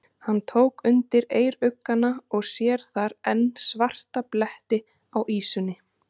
Hann tók undir eyruggana og sér þar enn svarta bletti á ýsunni.